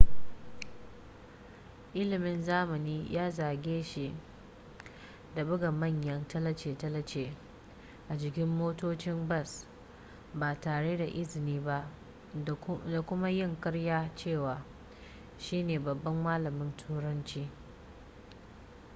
ilimin zamani ya zarge shi da buga manyan tallace-tallace a jikin motocin bas ba tare da izini ba da kuma yin karyar cewa shi ne babban malamin turanci